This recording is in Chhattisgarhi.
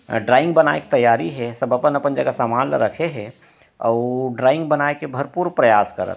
और ड्रॉइंग बांये के तैयारी हे और सब अपन-अपन जगा समान रखे हे अउ वो ड्रॉइंग बने का भर पुर प्रयास करत हे।